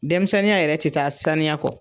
Denmisɛnninya yɛrɛ tɛ taa saniya kɔ.